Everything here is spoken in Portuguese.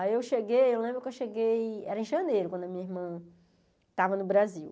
Aí eu cheguei, eu lembro que eu cheguei, era em janeiro, quando a minha irmã estava no Brasil.